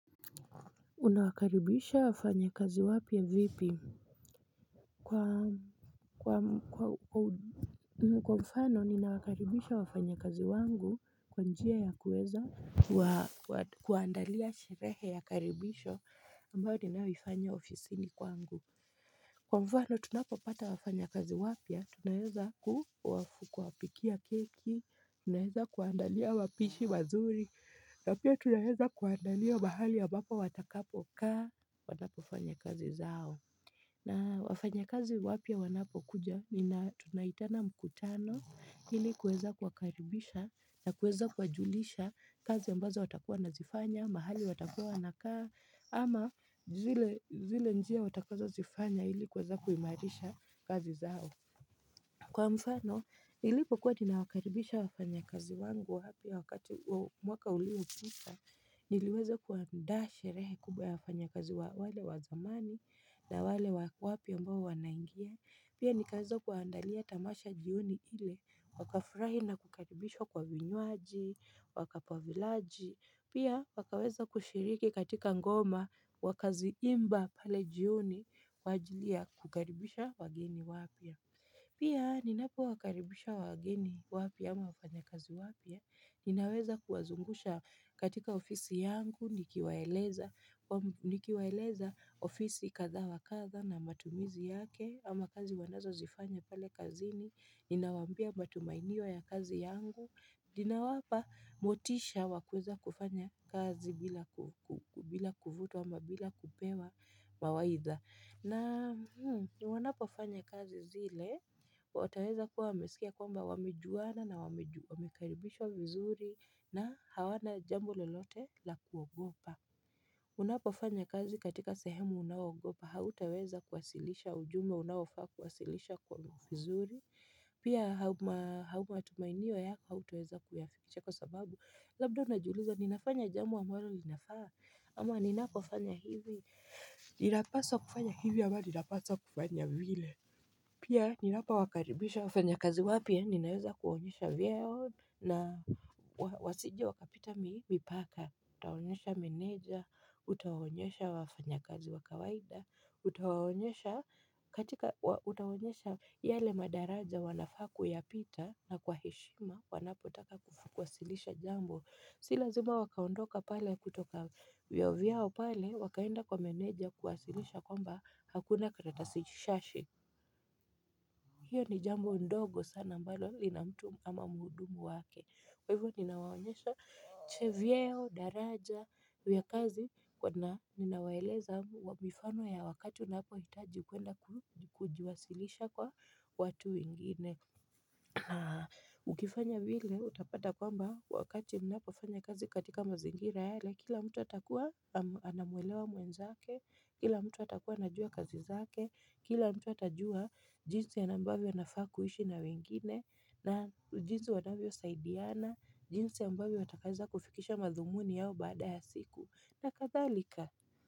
Unawakaribisha wafanyakazi wapya vipi? Kwa mfano, ninawakaribisha wafanyakazi wangu kwa njia ya kuweza kuandalia shirehe ya karibisho ambayo ninayoifanya ofisini kwangu. Kwa mfano, tunapopata wafanyakazi wapya, tunaeza kuwafu kwa pikia keki, tunaeza kuandalia wapishi wazuri, na pia tunaeza kuandalia mahali ambapo watakapokaa. Watapofanya kazi zao. Na wafanyakazi wapya wanapo kuja mina tunaitana mkutano ili kuweza kuwakaribisha na kuweza kuwajulisha kazi ambazo watakua nazifanya mahali watakua wanakaa ama zile njia watakazo zifanya ili kuweza kuimarisha kazi zao. Kwa mfano, ili kukua tumewakaribisha wafanyakazi wangu wapya wakati mwaka uliopita niliweza kuandaa sherehe kubwa ya wafanyakazi wale wa zamani na wale wapya ambao wanaingia Pia nikaeza kuwaandalia tamasha jioni ile wakafurahi na kukaribishwa kwa vinywaji, wakapavilaji Pia wakaweza kushiriki katika ngoma wakaziimba pale jioni kwa ajili ya kukaribisha wageni wapya. Pia ninapo wakaribisha wageni wapya ama wafanyakazi wapya ninaweza kuwazungusha katika ofisi yangu, nikiwaeleza ofisi katha wa katha na matumizi yake, ama kazi wanazozifanya pale kazini, ninawambia matumainio ya kazi yangu, ninawapa motisha wa kueza kufanya kazi bila kuvutwa ama bila kupewa mawaidha. Na wanapofanya kazi zile wataweza kuwa wamesikia kwamba wamejuwana na wamekaribishwa vizuri na hawana jambo lolote la kuogopa. Unapofanya kazi katika sehemu unawogopa hautaweza kuwasilisha ujumbe unaofaa kuwasilisha kwa vizuri Pia hauma tumainiwa yako hautaweza kuyafiche kwa sababu labda unajiuliza ninafanya jambo ambalo linafaa ama ninapofanya hivi ninapaswa kufanya hivyo ambao ninapasa kufanya vile Pia ninapo wakaribisha wafanya kazi wapya ninaweza kuonyesha vyeo na wasiji wakapita mipaka Utawaonyesha meneja, utawaonyesha wafanyakazi wa kawaida, utawaonyesha katika utawaonyesha yale madaraja wanafaa kuyapita na kwa heshima wanapotaka kufukwasilisha jambo Si lazima wakaondoka pale kutoka vyeo vyao pale wakaenda kwa meneja kuwasilisha kwamba hakuna karatasi shashi hiyo ni jambo ndogo sana ambalo lina mtu ama muhudumu wake Kwa hivyo ninawaonyesha che vyeo, daraja, huya kazi kwa na ninawaeleza wa mifano ya wakati unapo hitaji kuenda kujiwasilisha kwa watu wengine Ukifanya vile utapata kwamba wakati mnapofanya kazi katika mazingira yale kila mtu atakuwa anamwelewa mwenzake, kila mtu atakuwa anajua kazi zake, kila mtu atajua jinsi ya na ambavyo anafaa kuishi na wengine, na ujinsi wanavyo saidiana, jinsi ambavyo wataweza kufikisha mathumuni yao baada ya siku, na kathalika.